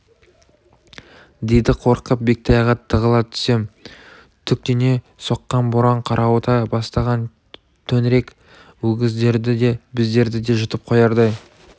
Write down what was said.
дейді қорқып бектайға тығыла түсем түтектене соққан боран қарауыта бастаған төңірек өгіздерді де біздерді де жұтып қоярдай